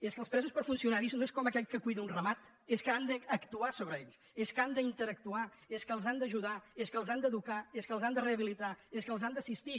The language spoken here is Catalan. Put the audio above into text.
és que els presos per funcionari no és com aquell que cuida un ramat és que han d’actuar sobre ells és que han d’interactuar és que els han d’ajudar és que els han d’educar és que els han de rehabilitar els que els han d’assistir